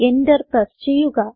enter press ചെയ്യുക